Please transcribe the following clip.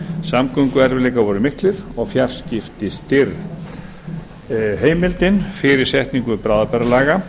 samgönguerfiðleikar voru miklir og fjarskipti stirð heimildin fyrir setningu bráðabirgðalaga